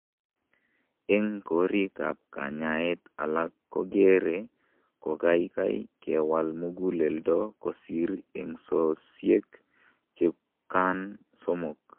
En korikap kanyaet alak , kokere kokaikai kewal muguleldo kosir eng'sosiek chukan somok.